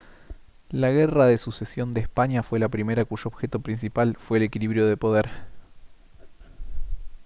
la guerra de sucesión de españa fue la primera cuyo objeto principal fue el equilibrio de poder